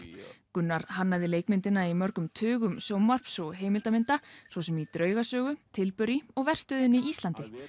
Gunnar hannaði leikmyndina í mörgum tuga sjónvarps og heimildamynda svo sem í draugasögu og verstöðina Íslandi